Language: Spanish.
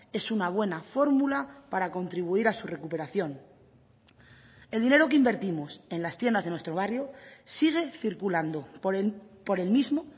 es una buena fórmula para contribuir a su recuperación el dinero que invertimos en las tiendas de nuestro barrio sigue circulando por el mismo